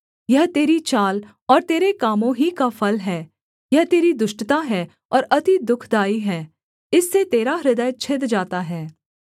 यह तेरी चाल और तेरे कामों ही का फल हैं यह तेरी दुष्टता है और अति दुःखदाई है इससे तेरा हृदय छिद जाता है